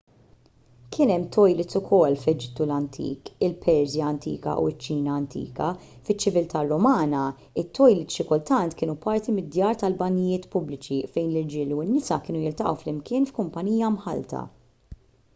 kien hemm tojlits ukoll fl-eġittu antik il-persja antika u ċ-ċina antika fiċ-ċiviltà rumana it-tojlits xi kultant kienu parti mid-djar tal-banjijiet pubbliċi fejn l-irġiel u n-nisa kienu jiltaqgħu flimkien f'kumpanija mħallta